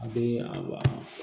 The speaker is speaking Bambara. A bɛ a